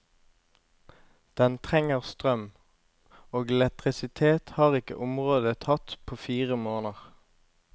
Den trenger strøm, og elektrisitet har ikke området hatt på fire måneder.